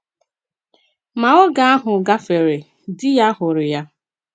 Ma oge ahụ gafere — di ya hụrụ ya.